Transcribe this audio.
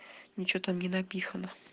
ничего там не напихано